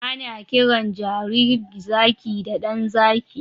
Ana kiran jaririn zaki da 'ɗan zaki'